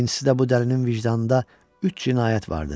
İkincisi də bu dəlinin vicdanında üç cinayət vardır.